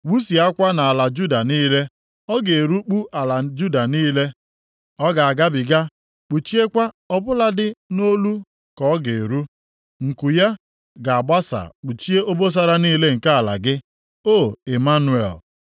wụsịakwa nʼala Juda niile. Ọ ga-erikpu ala Juda niile, ọ ga-agabiga, kpuchiekwa ọ bụladị nʼolu ka ọ ga-eru. Nku ya ga-agbasa kpuchie obosara niile nke ala gị, O Ịmanụel.”